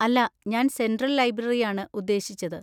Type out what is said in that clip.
അല്ല, ഞാൻ central library ആണ് ഉദ്ദേശിച്ചത്.